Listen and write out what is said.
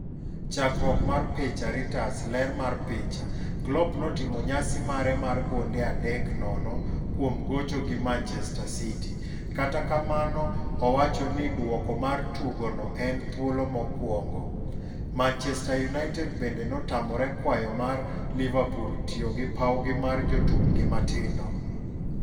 Chakruok mar picha, Reuters. Ler mar picha, Klopp notimo nyasi mare mar gonde 3-0 kuom gocho gi Manchester City ,Kata kamano owacho ni duoko mar tugo no en "thuolo mokwongo" Manchester United bende notamore kwayo mar Liverpool tiyo gi pawgi mar jotukgi matindo